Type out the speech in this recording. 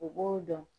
U b'o dɔn